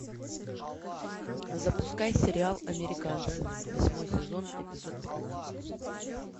запускай сериал американцы восьмой сезон эпизод пятнадцать